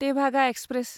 Tebhaga express